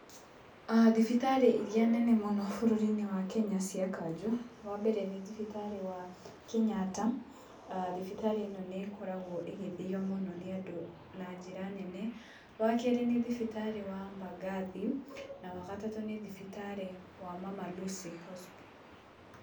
Thibitarĩ iria nene mũno bũrũri-inĩ wa Kenya cia kanjũ, wambere nĩ thibitarĩ wa Kenyatta, thibitarĩ ĩno nĩ ĩkoragwo ĩgĩthio mũno nĩ andũ na njĩra nene, wa kerĩ nĩ thibitarĩ wa Mbagathi, na wagatatũ nĩ thibitarĩ wa Mama Lucy Hospital.